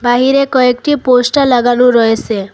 বাহিরে কয়েকটি পোস্টার লাগানো রয়েছে।